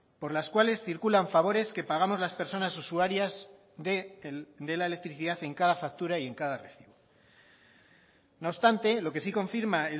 por las cuales circulan favores que pagamos las personas usuarias de la electricidad en cada factura y en cada recibo no obstante lo que sí confirma